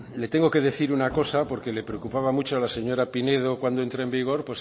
le tengo que decir una cosa porque que le preocupaba mucho a la señora pinedo cuando entra en vigor